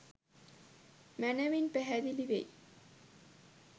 මැනවින් පැහැදිලි වෙයි.